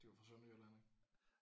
De var fra Sønderjylland ik